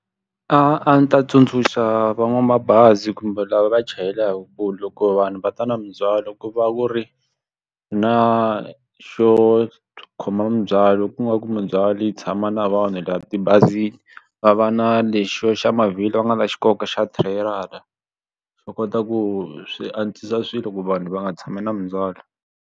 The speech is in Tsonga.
A ndzi ta tsundzuxa van'wamabazi kumbe lava va chayelaka ku loko vanhu va ta na mindzhwalo ku va ku ri na xo khoma mindzhwalo ku nga ku mindzhwalo yi tshama na vanhu laha tibazini va va na lexo xa mavhilwa va nga ta xi koka xa trailer-a xo kota ku swi antswisa swilo ku vanhu va nga tshami na mindzwalo.